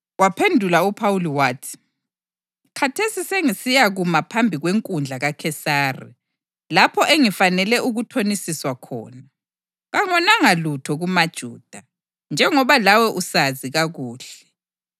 Waphendula uPhawuli wathi, “Khathesi sengisiyakuma phambi kwenkundla kaKhesari, lapho engifanele ukuthonisiswa khona. Kangonanga lutho kumaJuda, njengoba lawe usazi kakuhle.